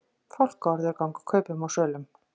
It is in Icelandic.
Fálkaorður ganga kaupum og sölum